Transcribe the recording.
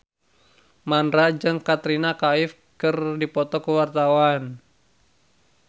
Mandra jeung Katrina Kaif keur dipoto ku wartawan